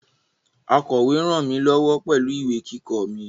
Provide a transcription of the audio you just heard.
Akọ̀we ràn mí lọ́wọ́ pẹ̀lú ìwé kíkọ mi